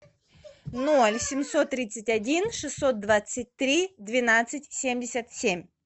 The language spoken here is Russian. ноль семьсот тридцать один шестьсот двадцать три двенадцать семьдесят семь